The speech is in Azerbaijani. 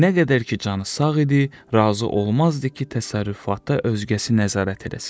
Nə qədər ki, canı sağ idi, razı olmazdı ki, təsərrüfata özgəsi nəzarət eləsin.